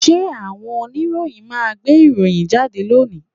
Ṣé àwọn oníròyìn máa gbé ìròyìn jáde lónìí?